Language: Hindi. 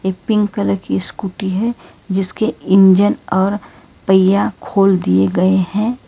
एक पिंक कलर की स्कूटी है जिसके इंजन और पहिया खोल दिए गए हैं।